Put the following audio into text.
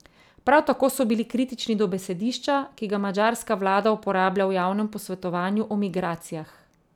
Prav tako so bili kritični do besedišča, ki ga madžarska vlada uporablja v javnem posvetovanju o migracijah.